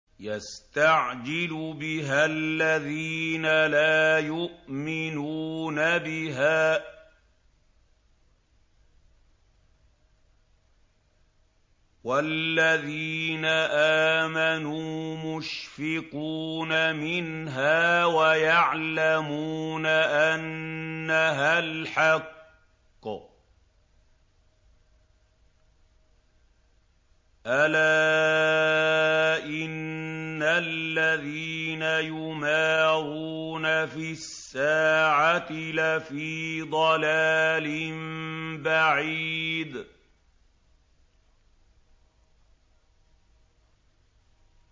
يَسْتَعْجِلُ بِهَا الَّذِينَ لَا يُؤْمِنُونَ بِهَا ۖ وَالَّذِينَ آمَنُوا مُشْفِقُونَ مِنْهَا وَيَعْلَمُونَ أَنَّهَا الْحَقُّ ۗ أَلَا إِنَّ الَّذِينَ يُمَارُونَ فِي السَّاعَةِ لَفِي ضَلَالٍ بَعِيدٍ